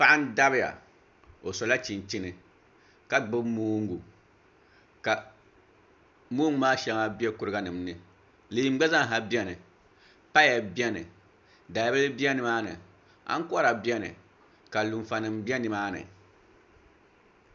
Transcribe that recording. paɣa n dabiya o sola chinchini ka gbibi moongu ka moongu maa shɛŋa be kuriganima ni leemu gba zaa ha beni paya beni dalibila be ni maa ni aŋkɔra beni ka lunfanima be ni maa ni